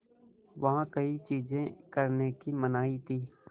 वहाँ कई चीज़ें करने की मनाही थी